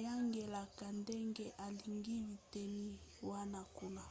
ayangelaka ndenge alingi biteni wana kuna